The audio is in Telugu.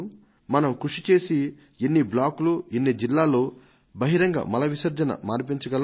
మనం కృషి చేసి ఎన్ని బ్లాకులు ఎన్ని జిల్లాలలో బహిరంగ మల విసర్జనను మాన్పించగలం